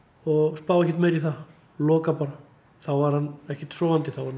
spái ekkert meira í það loka bara þá var hann ekkert sofandi þá var